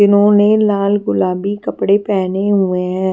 इन्होंने लाल गुलाबी कपड़े पहने हुए हैं।